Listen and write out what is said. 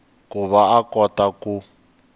ku va a kota ku